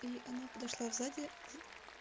и она подошла в заде